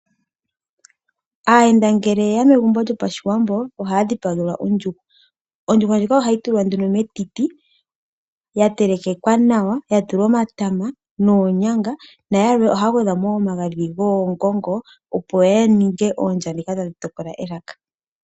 Aayenda ngele yeya megumbo lyopashiwambo ohaya dhipagelwa ondjuhwa. Ondjuhwa ndjika ohayi tulwa nduno metiti ya telekekwa nawa ya tulwa omatama noonyanga nayalwe ohaya gwedhamo wo omagadhi goongongo opo ya ninge oondya dhi kale tadhi tokola elaka.